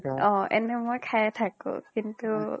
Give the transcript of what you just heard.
অ এনে মই খাইয়ে থাকো কিন্তু